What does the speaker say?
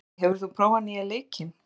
Eddi, hefur þú prófað nýja leikinn?